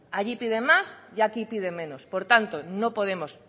allí piden más y aquí piden menos por tanto no podemos